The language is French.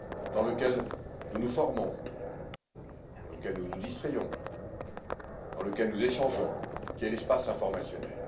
dans lequel nous nous formons, dans lequel nous nous distrayons, dans lequel nous échangeons, qui est l'espace informationnel.